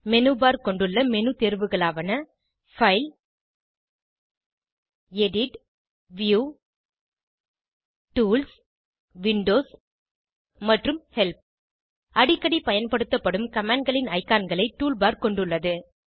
menu bar கொண்டுள்ள menu தேர்வுகளாவன file edit view tools windows மற்றும் ஹெல்ப் அடிக்கடி பயன்படுத்தப்படும் commandகளின் ஐகான்களை டூல்பார் கொண்டுள்ளது